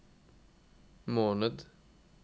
måned